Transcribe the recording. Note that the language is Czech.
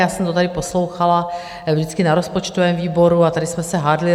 Já jsem to tady poslouchala vždycky na rozpočtovém výboru a tady jsme se hádali.